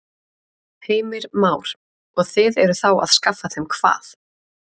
Heimir Már: Og þið eruð þá að skaffa þeim hvað?